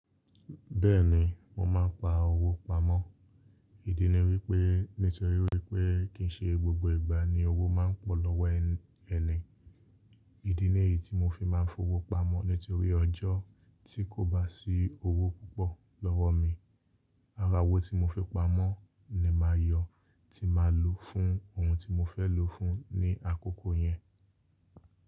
Bẹ́ẹ̀ni, mo máa ń pa owó pamọ́. Ìdí ni wí pé nítorí pé kì í ṣe gbogbo ìgbà ni owó máa ń pọ̀ lọ́wọ́ ẹni. Ìdí ni èyí tí mo fi máa ń fowó pamọ́ nítorí ọjọ́ tí kò bá sí owó púpọ̀ lọ́wọ́ mi, ara wó tí mo fi pamọ́ ni màa yọ, ti màa lò fún ohun tí mo fẹ́ lò fún ní àkókò yẹn.